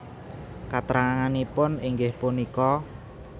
Katranganipun inggih punika